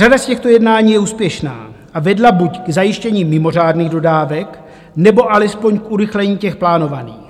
Řada z těchto jednání je úspěšná a vedla buď k zajištění mimořádných dodávek, nebo alespoň k urychlení těch plánovaných.